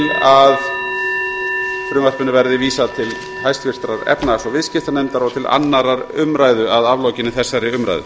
til að frumvarpinu verði vísað til háttvirtrar efnahags og viðskiptanefndar og til annarrar umræðu að aflokinni þessari umræðu